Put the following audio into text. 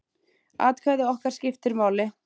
Atkvæði okkar skiptir máli.